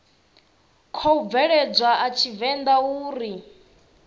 khou bveledzwa a tshivenḓa uri